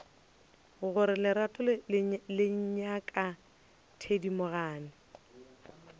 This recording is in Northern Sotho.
gore lerato le ngaka thedimogane